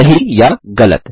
सही या गलत